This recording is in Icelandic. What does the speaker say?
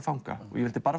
fanga ég vildi